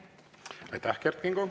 Aitäh!